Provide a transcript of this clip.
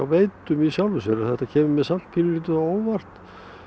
Veitum í sjálfu sér en þetta kemur mér samt pínulítið á óvart